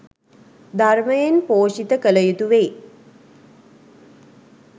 ධර්මයෙන් පෝෂිත කළ යුතු වෙයි